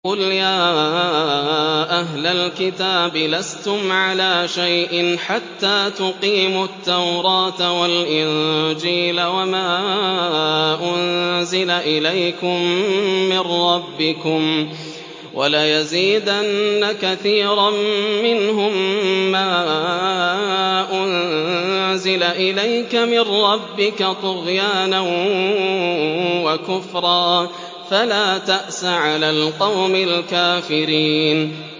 قُلْ يَا أَهْلَ الْكِتَابِ لَسْتُمْ عَلَىٰ شَيْءٍ حَتَّىٰ تُقِيمُوا التَّوْرَاةَ وَالْإِنجِيلَ وَمَا أُنزِلَ إِلَيْكُم مِّن رَّبِّكُمْ ۗ وَلَيَزِيدَنَّ كَثِيرًا مِّنْهُم مَّا أُنزِلَ إِلَيْكَ مِن رَّبِّكَ طُغْيَانًا وَكُفْرًا ۖ فَلَا تَأْسَ عَلَى الْقَوْمِ الْكَافِرِينَ